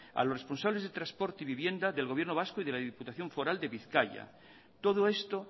a los responsables de transporte y vivienda del gobierno vasco y de la diputación foral de bizkaia todo esto